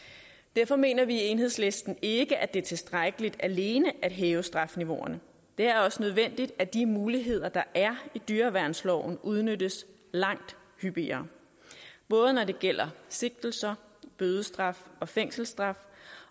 derfor mener vi i enhedslisten ikke at det er tilstrækkeligt alene at hæve strafniveauerne det er også nødvendigt at de muligheder der er i dyreværnsloven udnyttes langt hyppigere både når det gælder sigtelser bødestraf fængselsstraf